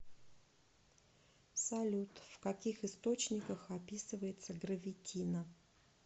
салют в каких источниках описывается гравитино